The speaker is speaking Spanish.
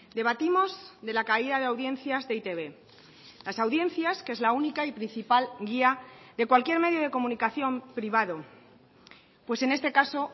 debatimos de la caída de audiencias de e i te be las audiencias que es la única y principal guía de cualquier medio de comunicación privado pues en este caso